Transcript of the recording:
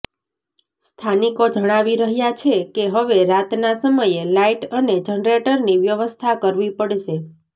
સ્થાનિકો જણાવી રહ્યા છે કે હવે રાતના સમયે લાઇટ અને જનરેટરની વ્યવસ્થા કરવી પડશે